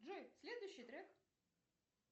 джой следующий трек